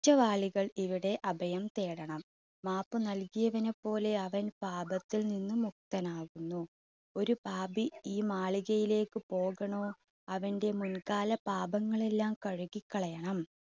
റ്റവാളികൾ ഇവിടെ അഭയം തേടണം, മാപ്പ് നൽകിയവനെ പോലെ അവൻ പാപത്തിൽ നിന്നും മുക്തനാകുന്നു ഒരു പാപി ഈ മാളികയിലേക്ക് പോകണോ അവൻറെ മുൻകാല പാപങ്ങളെല്ലാം കഴുകി കളയണം.